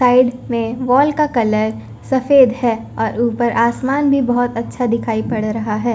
Side में wall का colour सफेद है और ऊपर आसमान भी बहुत अच्छा दिखाई पड़ रहा है।